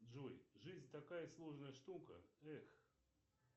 джой жизнь такая сложная штука эх